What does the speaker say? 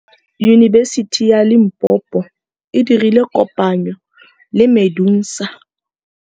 Yunibesiti ya Limpopo e dirile kopanyô le MEDUNSA.